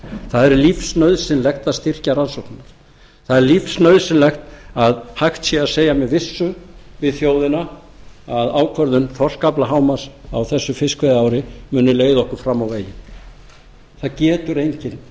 það er lífsnauðsynlegt er að styrkja rannsóknirnar það er lífsnauðsynlegt að hægt sé að segja með vissu við þjóðina að ákvörðun þorskaflahámarks á þessu fiskveiðiári muni leiða okkur fram á veginn það getur enginn